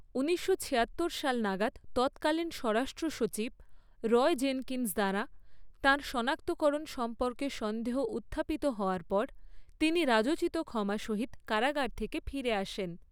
ঊনিশশো ছিয়াত্তর সাল নাগাদ তৎকালীন স্বরাষ্ট্র সচিব রয় জেনকিন্স দ্বারা, তাঁর সনাক্তকরণ সম্পর্কে সন্দেহ উত্থাপিত হওয়ার পর, তিনি রাজোচিত ক্ষমা সহিত কারাগার থেকে ফিরে আসেন।